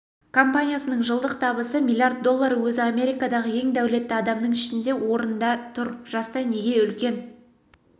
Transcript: компаниясының жылдық табысы миллиард доллары өзі америкадағы ең дәулетті адамның ішінде орында тұр жаста неге үлкен